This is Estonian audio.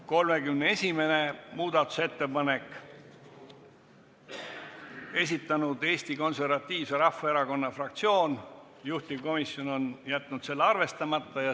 31. muudatusettepaneku on esitanud Eesti Konservatiivse Rahvaerakonna fraktsioon, juhtivkomisjon on jätnud selle arvestamata.